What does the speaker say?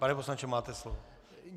Pane poslanče, máte slovo.